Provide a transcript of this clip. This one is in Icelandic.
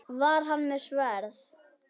Var hann með sverð?